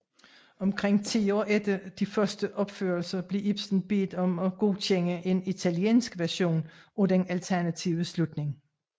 Omkring ti år efter de første opførelser blev Ibsen bedt om at godkende en italiensk version af den alternative slutning